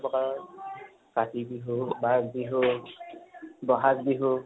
তিনি প্ৰকাৰৰ কাতি বিহু, মাঘ বিহু বহাগ বিহু